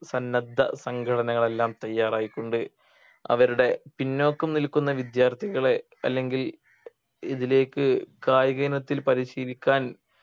സന്നദ്ധ സംഘടനകൾ എല്ലാം തയ്യാറായിക്കൊണ്ട് അവരുടെ പിന്നോക്കം നിൽക്കുന്ന വിദ്യാർത്ഥികളെ അല്ലെങ്കിൽ ഇതിലേക്ക് കായികയിനത്തിൽ പരിശീലിക്കാൻ